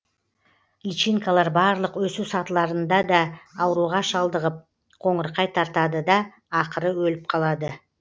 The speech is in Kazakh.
личинкалар барлық өсу сатыларында да ауруға шалдығып қоңырқай тартады да ақыры өліп қалады